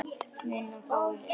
Munu fáir eftir leika.